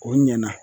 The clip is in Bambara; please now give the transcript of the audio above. O ɲɛna